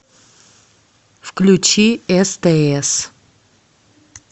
включи стс